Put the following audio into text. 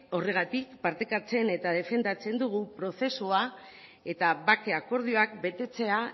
horregatik partekatzen eta defendatzen dugu prozesua eta bake akordioak betetzea